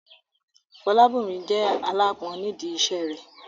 Fọlábòmí jẹ́ aláápọn nídi iṣẹ́ rẹ̀